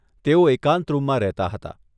તેઓ એકાંત રૂમમાં રહેતાં હતાં.